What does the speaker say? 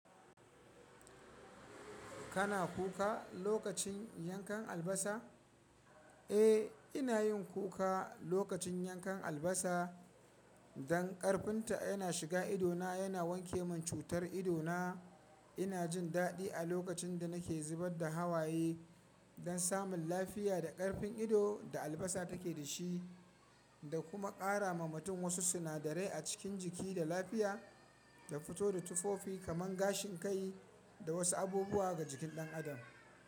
Kana kuka lokacin yankan albasa? Eh, ina yin kuka lokacin yankan albasa dan karfun ta yana shiga ido na, yana wanke min cutar ido na. Ina jin daɗi a lokacin da nake zubar da hawaye dan samun lafiya da karfin ido da albasa take da shi, da kuma ƙara ma mutum wasu sinadarai a cikin jiki da lafiya, da fito da tufofi kamar gashin kai da wasu abubuwa ga jikin ɗan adam.